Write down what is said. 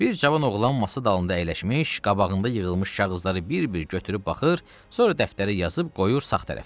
Bir cavan oğlan masa dalında əyləşmiş, qabağında yığılmış kağızları bir-bir götürüb baxır, sonra dəftərə yazıb qoyur sağ tərəfinə.